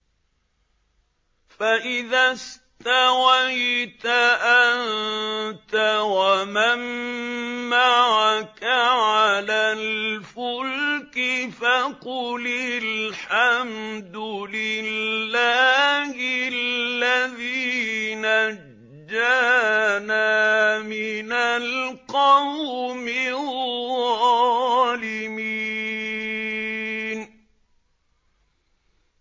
فَإِذَا اسْتَوَيْتَ أَنتَ وَمَن مَّعَكَ عَلَى الْفُلْكِ فَقُلِ الْحَمْدُ لِلَّهِ الَّذِي نَجَّانَا مِنَ الْقَوْمِ الظَّالِمِينَ